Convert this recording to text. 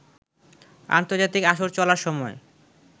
আন্তর্জাতিক আসর চলার সময়